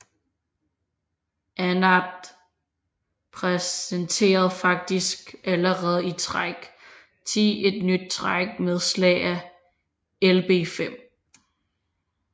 Anand præsenterede faktisk allerede i træk 10 et nyt træk med slag af Lb5